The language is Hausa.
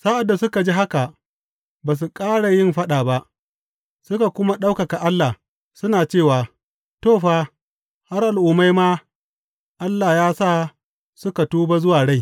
Sa’ad da suka ji haka, ba su ƙara yin faɗa ba, suka kuma ɗaukaka Allah, suna cewa, To, fa, har Al’ummai ma Allah ya sa suka tuba zuwa rai.